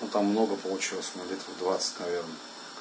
там много получилось ну где то двадцать наверное